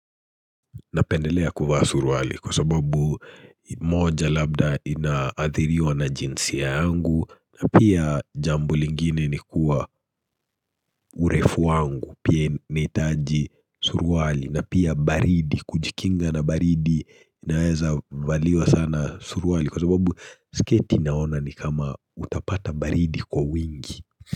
Napendelea kuvaa suruali kwa sababu moja labda ina athiriwa na jinsi yangu na pia jambo lingine ni kuwa urefu wangu pia nahitaji suruali, na pia baridi kujikinga na baridi inaweza valiwa sana suruali kwa sababu sketi naona ni kama utapata baridi kwa wingi.